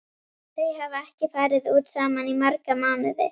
Þau hafa ekki farið út saman í marga mánuði.